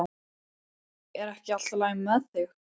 Er ekki allt í lagi með þig?